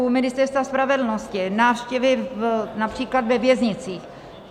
U Ministerstva spravedlnosti - návštěvy například ve věznicích.